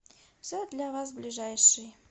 все для вас ближайший